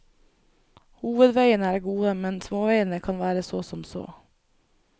Hovedveiene er gode, men småveiene kan være så som så.